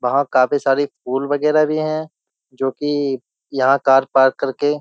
वहां काफी सारी फूल वगैरह भी हैं जो कि यहां कार पार्क करके --